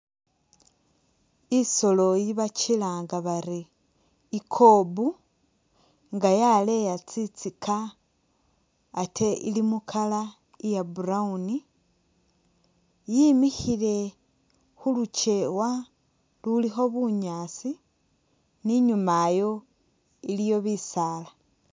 I'soolo iye bikilanga bari i'kob nga yaleya tsintsika ate ili mu color iya brown yimikhile khulukeewa lulikho bunyaasi ni inyuma ayo iliyo bisaala